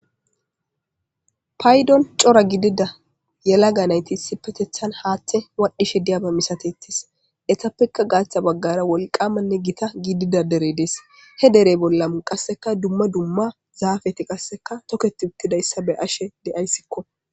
Paydon c'ora gidida yelaga naytisi petethan haaththe waadhishe diyaba misatettis etappekka gaaththa baggara wolqamanne gita gidida dere dees he dere bollamu qasseka dumma dumma zaafeti qasseka toketi uttidayssa be ashe de'aysiko